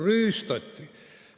Rüüstati.